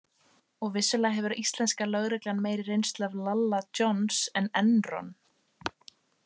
Og vissulega hefur íslenska lögreglan meiri reynslu af Lalla Johns en Enron.